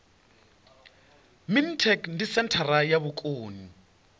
mintek ndi senthara ya vhukoni